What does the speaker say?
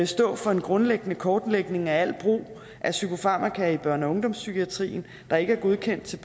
stå for en grundlæggende kortlægning af al brug af psykofarmaka i børne og ungdomspsykiatrien der ikke er godkendt til